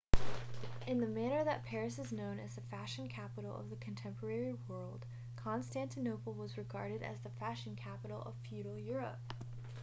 in the manner that paris is known as the fashion capital of the contemporary world constantinople was regarded as the fashion capital of feudal europe